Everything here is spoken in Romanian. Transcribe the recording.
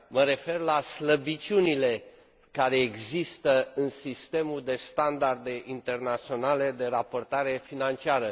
Mă refer la slăbiciunile care există în sistemul de standarde internaționale de raportare financiară.